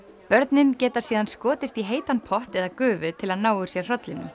börnin geta síðan skotist í heitan pott eða gufu til að ná úr sér